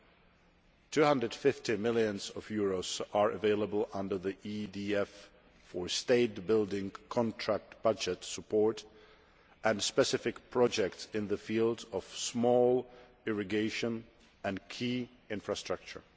EUR 250 million is available under the EDF for state building contract budget support and specific projects in the field of small irrigation and key infrastructure.